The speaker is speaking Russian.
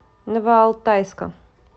новоалтайска